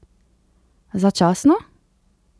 Začasno?